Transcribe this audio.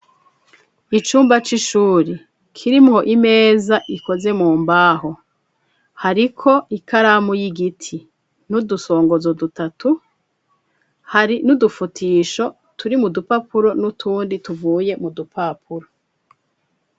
Icumba c'ishuri, kirimwo Imeza ikoze mu mbaho, hariko ikaramu y'Igiti ,n'udusongozo dutatu, hari n'udufutisho turi mu dupapuro, n'utundi tuvuye mu dupapuro.